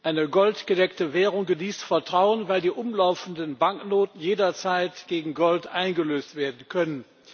Eine goldgedeckte Währung genießt Vertrauen, weil die umlaufenden Banknoten jederzeit gegen Gold eingelöst werden können.